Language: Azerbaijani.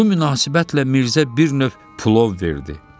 Bu münasibətlə Mirzə bir növ plov verdi.